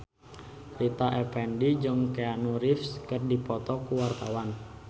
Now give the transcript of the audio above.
Rita Effendy jeung Keanu Reeves keur dipoto ku wartawan